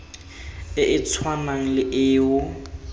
e e tshwanang le eo